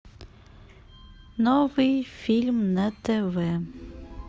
новый фильм на тв